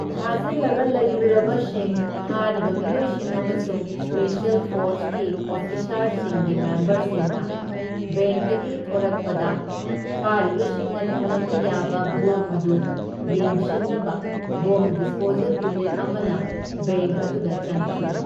ꯐꯥꯖꯤꯜꯂꯒ ꯂꯩꯔꯨꯔꯕꯁꯤꯡ, ꯐꯥꯔꯤꯕ ꯃꯤꯑꯣꯢꯁꯤꯡ ꯑꯃꯁꯨꯡ ꯁ꯭ꯄꯦꯁ꯭ꯌꯦꯜ ꯐꯣꯔꯁꯀꯤ ꯑꯣꯐꯤꯁꯥꯔꯁꯤꯡꯒꯤ ꯃꯦꯝꯕꯔꯁꯤꯡꯅ ꯕꯦꯡꯛꯇꯒꯤ ꯊꯣꯔꯛꯄꯗ, ꯐꯥꯔꯤꯕꯁꯤꯡꯅ ꯊꯝꯂꯝꯕ ꯌꯥꯕ ꯕꯣꯝ ꯑꯗꯨ ꯌꯦꯡꯁꯤꯟꯅꯕ ꯕꯣꯝ ꯗꯤꯁꯄꯣꯖꯦꯜ ꯌꯨꯅꯤꯠ ꯑꯃꯅ ꯕꯦꯡꯛ ꯑꯗꯨꯗ ꯆꯪꯈꯤ꯫